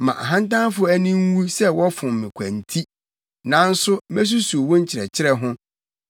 Ma ahantanfo ani nwu sɛ wɔfom me kwa nti nanso mesusuw wo nkyerɛkyerɛ ho.